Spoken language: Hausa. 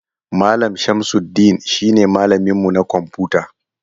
Mallam shamsudeen shi ne malamin mu na kwamfuta.